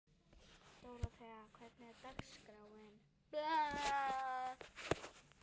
Dóróthea, hvernig er dagskráin?